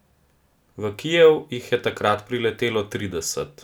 V Kijev jih je takrat priletelo trideset.